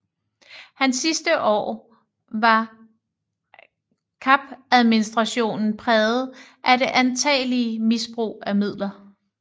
Hans sidste år var Kapadministrationen præget af det antagelige misbrug af midler